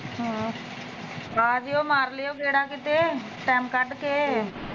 ਹਾਂ ਆ ਜਿਓ ਮਾਰਿਓ ਗੇੜਾ ਕਿਤੇ ਟੈਮ ਕੱਢ ਕੇ